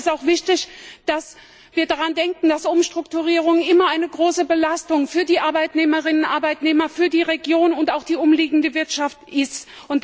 Aber es ist auch wichtig, dass wir daran denken, dass Umstrukturierungen immer eine große Belastung für die Arbeitnehmerinnen und Arbeitnehmer, für die Region und auch die umliegende Wirtschaft sind.